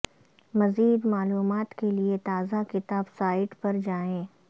مزید معلومات کے لئے تازہ کتاب سائٹ پر جائیں